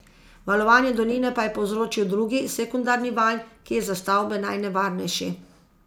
Valovanje doline pa je povzročil drugi, sekundarni val, ki je za stavbe najnevarnejši.